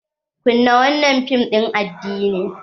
"kunna wannan fim din addinin".